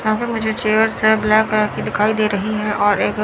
यहां पे मुझे चेयर्स हैं ब्लैक कलर की दिखाई दे रही है और एक--